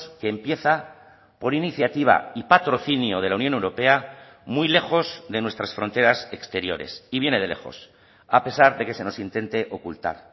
que empieza por iniciativa y patrocinio de la unión europea muy lejos de nuestras fronteras exteriores y viene de lejos a pesar de que se nos intente ocultar